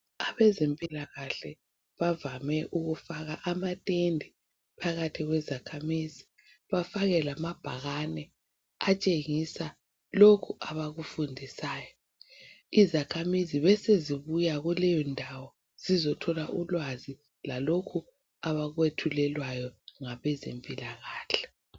Abezempilakahle bavame ukufaka amatende phakathi kwezakhamizi bafake lamabhakane atshengisa lokhu abakufundisayo izakhamizi besezibuya kuleyo ndawo zizothola ulwazi lalokhu abakwethulelwayo ngabezempilakahle.